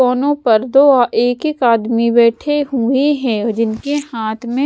कोनों पर दो एक एक आदमी बैठे हुए हैं जिनके हाथ में--